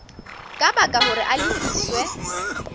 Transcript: ka baka hore a lefiswe